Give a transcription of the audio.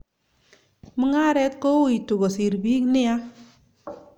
Mugharet kowoitu kosir pik nia.